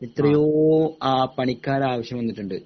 എത്രയോ അഹ് പണിക്കാർടെ ആവിശ്യം വന്നിട്ടുണ്ട്